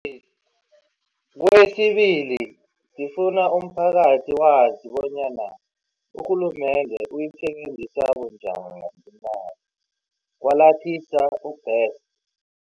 Kwesibili, sifuna umphakathi wazi bonyana urhulumende uyisebenzisa bunjani imali, Kwalathisa u-Best.